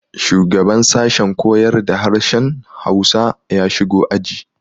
Shugaban sashen koyar da harshen Hausa ya shigo aji.